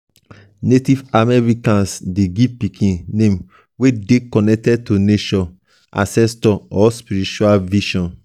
native americans de give pikin name wey dey connected to nature ancestor or spiritual vision